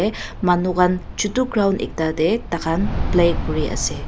manukhan chotu ground ekta te taikhan play kuri ase.